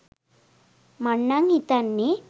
මං නං හිතන්නෙ